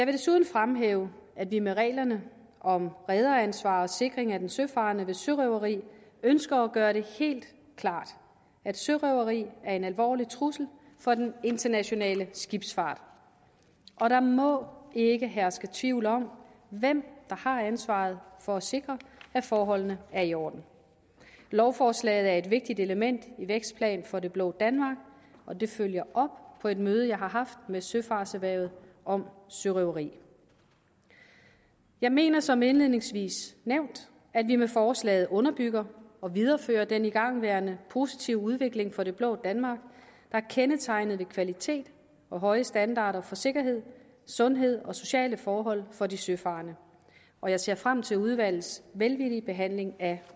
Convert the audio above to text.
desuden fremhæve at vi med reglerne om rederansvar og sikring af den søfarende ved sørøveri ønsker at gøre det helt klart at sørøveri er en alvorlig trussel for den internationale skibsfart og der må ikke herske tvivl om hvem der har ansvaret for at sikre at forholdene er i orden lovforslaget er et vigtigt element i vækstplan for det blå danmark og det følger op på et møde jeg har haft med søfartserhvervet om sørøveri jeg mener som indledningsvis nævnt at vi med forslaget underbygger og viderefører den igangværende positive udvikling for det blå danmark der er kendetegnet ved kvalitet og høje standarder for sikkerhed sundhed og sociale forhold for de søfarende og jeg ser frem til udvalgets velvillige behandling af